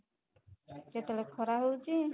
କେତେ ବେଳେ ଖରା ହଉଛି